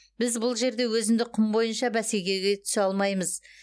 біз бұл жерде өзіндік құн бойынша бәсекеге түсе алмаймыз